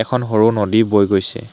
এখন সৰু নদী বৈ গৈছে।